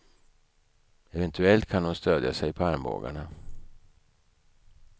Eventuellt kan hon stödja sig på armbågarna.